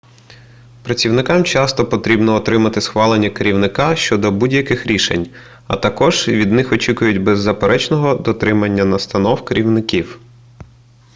працівникам часто потрібно отримати схвалення керівника щодо будь-яких рішень а також від них очікують беззаперечного дотримання настанов керівників